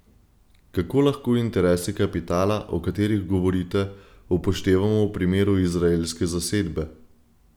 Kako lahko interese kapitala, o katerih govorite, upoštevamo v primeru izraelske zasedbe?